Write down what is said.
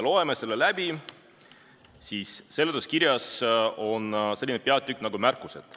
Loeme selle seletuskirjas sellist osa nagu "Märkused".